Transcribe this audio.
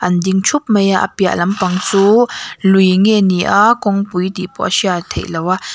an ding thup mai a a piah lampang chu lui nge ni a kawngpui tih pawh a hriat theih loh a.